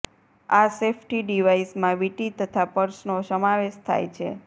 આ સેફ્ટી ડિવાઈસમાં વીંટી તથા પર્સનો સમાવેશ થાય છે